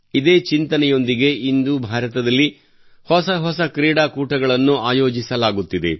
ಇದೇ ಚಿಂತನೆಯೊಂದಿಗೆ ಇಂದು ಭಾರತದಲ್ಲಿ ಹೊಸ ಹೊಸ ಕ್ರೀಡಾ ಕೂಟಗಳನ್ನು ಆಯೋಜಿಸಲಾಗುತ್ತಿದೆ